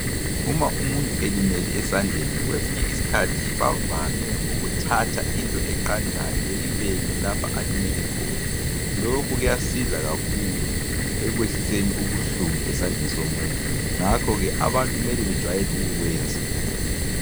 Uma umuntu elimele esandleni kwesinye isikhathi bavame ukuthathwa into eqandayo beyibeke lapho alimele khona lokhu kuyasiza kakhulu ekwehliseni ubuhlungu esandleni somuntu ngakho ke abantu mele bejwayele ukukwenza.